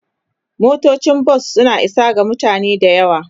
Motocin bas suna isa ga mutane da yawa.